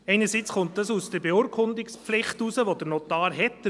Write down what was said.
Einerseits kommt das aus der Beurkundungspflicht, die der Notar hat.